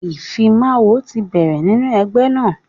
ìfimawo ti bẹ̀rẹ̀ nínú ẹgbẹ́ náà.